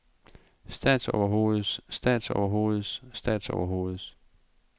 statsoverhoveds statsoverhoveds statsoverhoveds